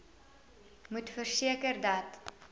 moet verseker dat